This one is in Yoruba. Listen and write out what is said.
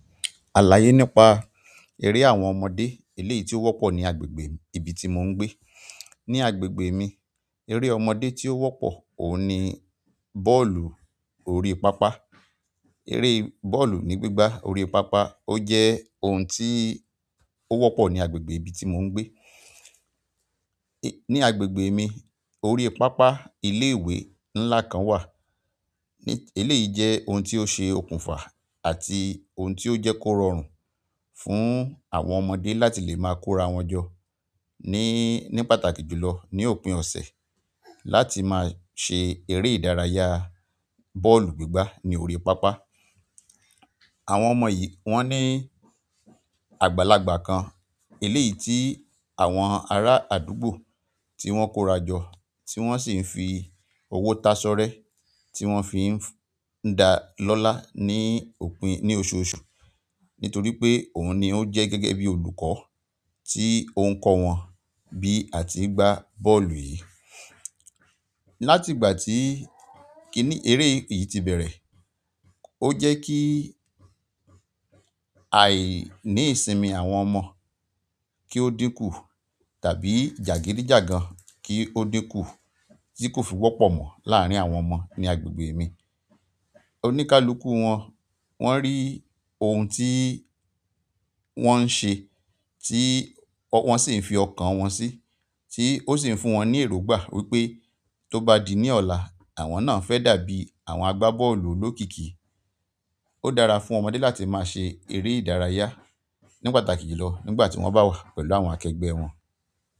Àlàyé nípa eré àwọn ọmọdé eléyìí tí ó wọ́pọ̀ ní agbègbè ibi tí mò ń gbé. Ní agbègbè mi, eré ọmọdé tí ó wọ́pọ̀ òun ni bọ́ọ̀lù orí pápá. Eré bọ́ọ̀lù ní gbígbá orí pápá ó jẹ́ ohun tí ó wọ́pọ̀ ní agbègbè ibi tí mò ń gbé. Ni agbègbè mi, orí pápá ilé ìwé ńlá kan wà. Eléyìí jẹ́ ohun tí ó ṣe okùnfà àti ohun tí ó jẹ́ kó rọrùn fún àwọn ọmọdé láti lè máa kórawọn jọ ní, ní pàtàkì jùlọ ní òpin ọ̀sẹ̀ láti máa ṣe eré ìdárayá bọ́ọ̀lù gbígbá ní orí pápá. Àwọn ọmọ yìí wọ́n ní àgbàlagbà kan. Eleyii ti àwọn ara àdúgbò ti wọn ko ra jo ti wọn si n fi owo tasorẹ ti wọn fi n da lọla ni òpin ni oṣù oṣù nítorí pé òun ni ó jẹ́ gẹ́gẹ́ bí olùkọ́ tí ó ń kọ́ wọn bí a ti ń gbá bọ́ọ̀lù yìí. Láti ìgbà tí kíní eré yìí ti bẹ̀rẹ̀, ó jẹ́ kí àìní ìsinmi àwọn ọmọ kí ó dínkù tàbí jàgídíjàgan kí ó dínkù tí kò fi wọ́pọ̀ mọ láàárín àwọn ọmọ ní agbègbè mi. Onikakuku wọn, wọn ri oun ti wọn n se ti wọn si n fi okan wọn si, ti o si n fún wọn ni erongba pe ti o ba di ni ola àwọn naaa fẹ dàbí àwọn agba bọ́ọ̀lù olokiki. Ó dára fún ọmọdé láti máa ṣe eré ìdárayá ní pàtàkì jùlọ nígbà tí wọ́n bá wà pẹ̀lú àwọn akẹgbẹ́ wọn.